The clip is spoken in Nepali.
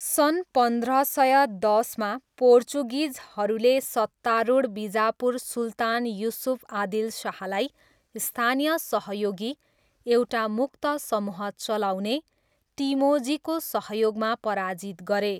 सन् पन्ध्र सय दसमा, पोर्चुगिजहरूले सत्तारूढ बिजापुर सुल्तान युसुफ आदिल शाहलाई स्थानीय सहयोगी, एउटा मुक्त समुह चलाउने, टिमोजीको सहयोगमा पराजित गरे।